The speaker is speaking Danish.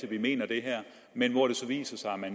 at de mener det men hvor det så viser sig at